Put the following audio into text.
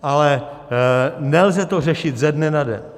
Ale nelze to řešit ze dne na den.